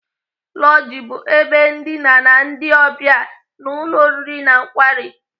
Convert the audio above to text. Lọji bụ ebe ndina ndị ọbịa n'ụlọ oriri na nkwari.